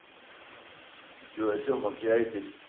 что о чем общаетесь